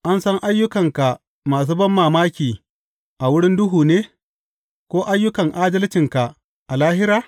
An san ayyukanka masu banmamaki a wurin duhu ne, ko ayyukan adalcinka a lahira?